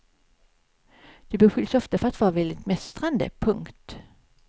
Du beskylls ofta för att vara väldigt mästrande. punkt